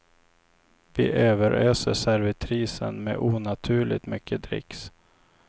Vi överöser servitrisen med onaturligt mycket dricks.